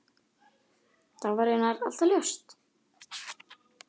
Það var raunar alltaf ljóst.